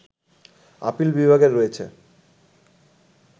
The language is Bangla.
আপিল বিভাগের রয়েছে